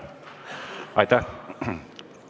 Aitäh!